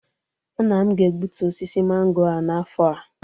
Nna m ga-egbutu osisi mango a n'afọ a